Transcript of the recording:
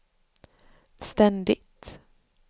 ständigt